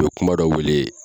U ye kuma dɔ wuli